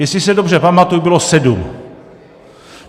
Jestli se dobře pamatuji, bylo sedm.